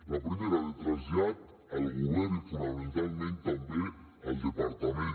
la primera de trasllat al govern i fonamentalment també al departament